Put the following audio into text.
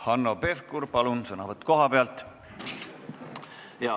Hanno Pevkur, palun sõnavõtt kohalt!